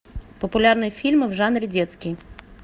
популярные фильмы в жанре детский